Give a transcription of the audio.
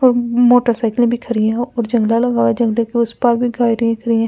अम्म मोटरसाइकिले भी खरी है और झंदा लगाया झंडे के उस पार भी खरीद रही है म --